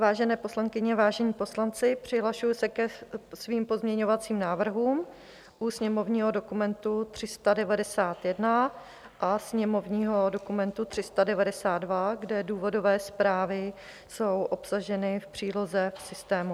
Vážené poslankyně, vážení poslanci, přihlašuji se ke svým pozměňovacím návrhům u sněmovního dokumentu 391 a sněmovního dokumentu 392, kde důvodové zprávy jsou obsaženy v příloze v systému.